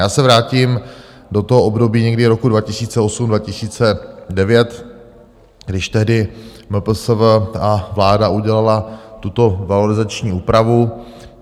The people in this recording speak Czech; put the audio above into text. Já se vrátím do toho období někdy roku 2008, 2009, když tehdy MPSV a vláda udělaly tuto valorizační úpravu.